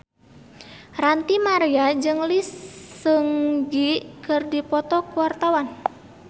Ranty Maria jeung Lee Seung Gi keur dipoto ku wartawan